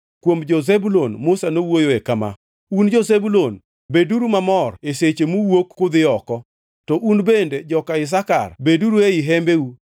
Kuom jo-Zebulun, Musa nowuoyoe kama: “Un jo-Zubulun, beduru mamor e seche muwuok kudhi oko, to un bende jo-Isakar beduru ei hembeu.